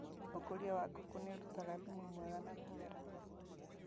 ũkũria wa ngũkũ nĩũrutaga thumu mwega na mĩmera